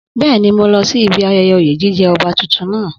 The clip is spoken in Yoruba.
Bẹ́ẹ̀ni, mo lọ sí ibi ayẹyẹ oyè jíjẹ ọba tuntun náà